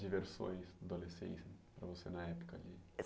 diversões adolescência para você na época?